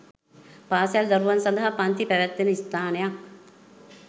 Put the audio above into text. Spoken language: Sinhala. පාසල් දරුවන් සඳහා පන්ති පැවැත්වෙන ස්ථානයක්